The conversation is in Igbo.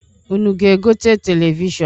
Unu ga-egote televishọnụ?